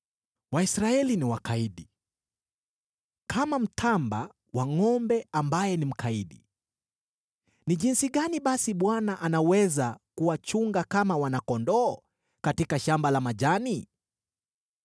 Waisraeli ni wakaidi, kama mtamba wa ngʼombe ambaye ni mkaidi. Ni jinsi gani basi Bwana anaweza kuwachunga kama wana-kondoo katika shamba la majani?